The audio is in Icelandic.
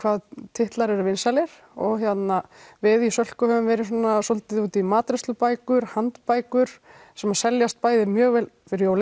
titlar eru vinsælir og við í Sölku höfum verið svona svolítið úti í matreiðslubækur handbækur sem seljast bæði mjög vel fyrir jólin